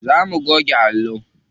Zo mu goge allo.